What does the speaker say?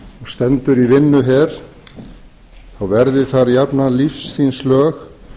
stendur í vinnuher þá verði þar jafnan lífs þíns lög